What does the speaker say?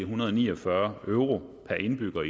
hundrede og ni og fyrre euro per indbygger